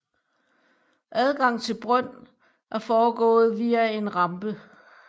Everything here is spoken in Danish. Adgang til brøn er foregået via en rampe